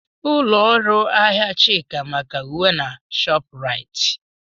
Ụlọ ahịa Chika maka uwe na Shopuraiti.